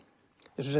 eins og